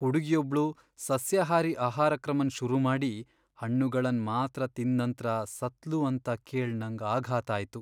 ಹುಡುಗಿಯೊಬ್ಳು ಸಸ್ಯಾಹಾರಿ ಆಹಾರಕ್ರಮನ್ ಶುರು ಮಾಡಿ ಹಣ್ಣುಗಳನ್ ಮಾತ್ರ ತಿಂದ್ ನಂತ್ರ ಸತ್ಲು ಅಂತ ಕೇಳ್ ನಂಗ್ ಆಘಾತ ಆಯ್ತು.